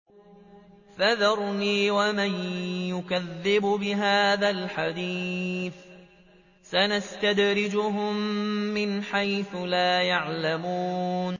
فَذَرْنِي وَمَن يُكَذِّبُ بِهَٰذَا الْحَدِيثِ ۖ سَنَسْتَدْرِجُهُم مِّنْ حَيْثُ لَا يَعْلَمُونَ